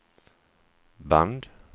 band